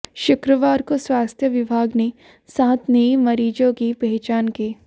शुक्रवार को स्वास्थ्य विभाग ने सात नए मरीजों की पहचान की